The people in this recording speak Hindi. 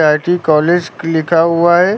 आई_टी कॉलेज लिखा हुआ है।